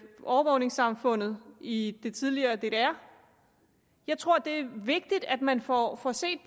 overvågningssamfundet i det tidligere ddr jeg tror det er vigtigt at man får får set